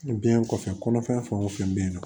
Biɲɛ kɔfɛ fɛn wo fɛn be yen nɔ